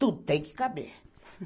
Tudo tem que caber.